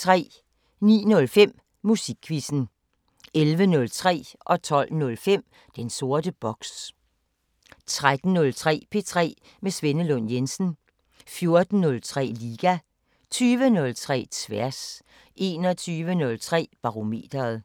09:05: Musikquizzen 11:03: Den sorte boks 12:05: Den sorte boks 13:03: P3 med Svenne Lund Jensen 14:03: Liga 20:03: Tværs 21:03: Barometeret